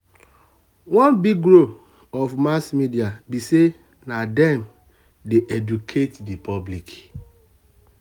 one big role of mass media be say na them dey educate the public.